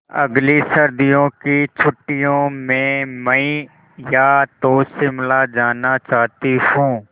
अगली सर्दी की छुट्टियों में मैं या तो शिमला जाना चाहती हूँ